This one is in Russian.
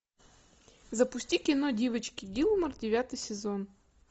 запусти кино девочки гилмор девятый сезон